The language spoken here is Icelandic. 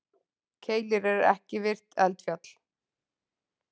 Keilir er ekki virkt eldfjall.